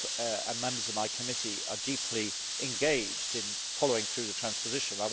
I and members of my committee are deeply engaged in following through the transposition.